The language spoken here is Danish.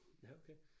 Ja okay